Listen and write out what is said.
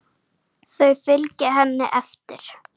Þau fylgja henni eftir.